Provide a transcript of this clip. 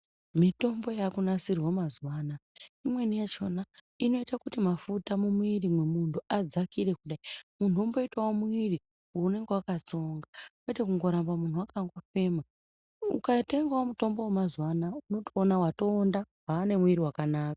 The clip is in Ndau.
Mitombo yaakunasirwe mazuwa anoaya imweni yachona inoita kuti mafuta mumwiri mwemunhu adzakire kudai munhu omboita mwiri unonga wakatsonga kwete munhu kuramba wakandofema ukatengawo mutombo wemazuwa anaya unotoona watoonda waanemwiri wakanaka.